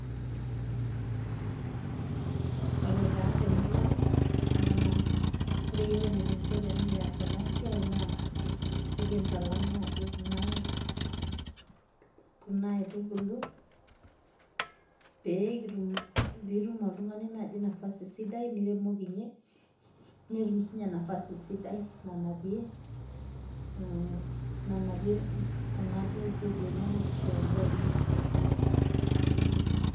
Ore taa temurua ang',naa ore yiok enikinko tenikias enasiai, naa enkintalam naji kuna kuna aitubulu, pekitum pitum oltung'ani naji nafasi sidai niremokinye, netum sinye nafasi sidai nanapie, nanapie kuda duo peku enyanak ashu endaa enye,.